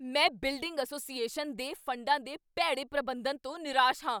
ਮੈਂ building association ਦੇ ਫੰਡਾਂ ਦੇ ਭੈੜੇ ਪ੍ਰਬੰਧਨ ਤੋਂ ਨਿਰਾਸ਼ ਹਾਂ।